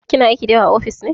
Kina aiki da yawa a ofis?